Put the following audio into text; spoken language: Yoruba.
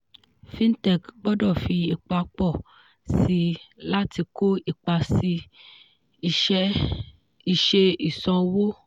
fintech gbọdọ̀ fi ipa pọ̀ síi láti kó ipa sí isẹ́ ìsan owó.